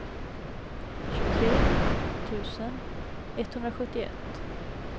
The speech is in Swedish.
tjugotre tusen etthundrasjuttioett